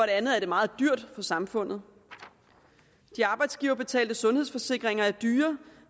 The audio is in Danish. andet er det meget dyrt for samfundet de arbejdsgiverbetalte sundhedsforsikringer er dyre